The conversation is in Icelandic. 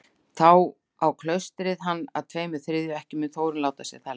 Þá á klaustrið hann að tveimur þriðju, ekki mun Þórunn láta sér það lynda.